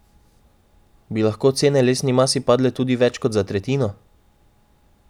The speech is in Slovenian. Bi lahko cene lesni masi padle tudi več kot za tretjino?